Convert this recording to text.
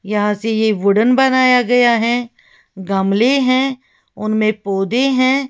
यहां से ये वुडन बनाया गया है गमले हैं उनमें पौधे हैं।